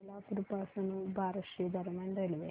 सोलापूर पासून बार्शी दरम्यान रेल्वे